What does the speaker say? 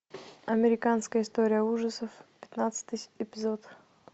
американская история ужасов пятнадцатый эпизод